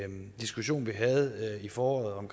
en diskussion vi havde i foråret om